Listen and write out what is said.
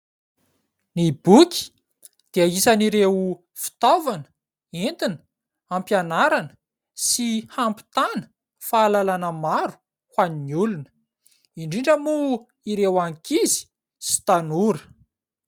Ny boky dia isan' ireo fitaovana entina ampianarana sy hampitana fahalalana maro ho an'ny olona indrindra moa ireo ankizy sy tanora.